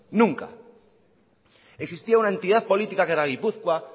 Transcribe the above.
nunca existía una entidad política que era gipuzkoa